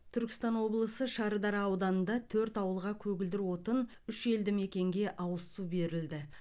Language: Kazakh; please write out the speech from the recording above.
түркістан облысы шардара ауданында төрт ауылға көгілдір отын үш елді мекенге ауыз су берілді